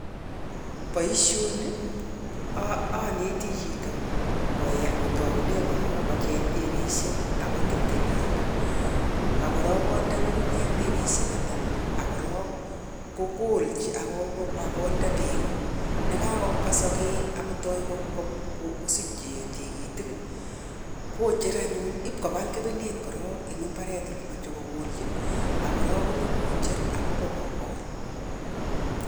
Boisioni ooneti chito koe kotounen koron kocheng' tebeisiek ak kotil temenik ak korok konde nyugunyek tebeisiek yeta ak korok kokolchi ak konde beek ko nekabwa sokek ak kotok kosich tikitik kocher anyun ipkobal kebenet korok en mbaret olemoche kokolchi ak korok konyo kocher ak iba kokol.